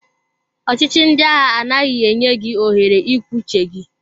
Ọchị chi ndị agha anaghị enye gị ohere ikwu uche gị.